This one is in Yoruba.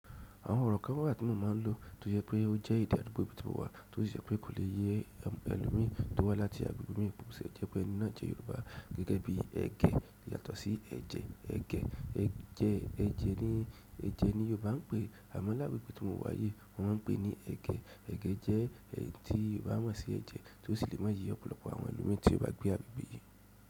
Àwọn ọ̀rọ̀ kan wà tí wọ́n máa ń lò tó jẹ pé ó jẹ́ èdè àdúgbò ibi tí mo wà, tó sì jẹ́ pé kò le yé àwọn ẹlòmíràn tó wá láti agbègbè mìíràn bo ti le jé pẹ ẹni náà jẹ́ Yorùbá gẹ́gẹ́ bí ègẹ́ yàtọ̀ sí ẹ̀jẹ̀. Ẹ̀gẹ́ jẹ́ ẹ̀jẹ̀ ni Yorùbá ń pè, àmọ́ lágbègbè tí mo wà yìí wọ́n ń pè ní ẹ̀gẹ́. Ẹ̀gẹ́ jẹ́ èyí tí Yorùbá mọ̀ sí ẹ̀jẹ̀ tó sì le máa ye ọ̀pọ̀lọpọ̀ àwọn ẹlòmi tí ó bá gbé àgbègbè yìí.